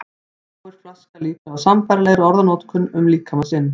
Fáir flaska líklega á sambærilegri orðanotkun um líkama sinn.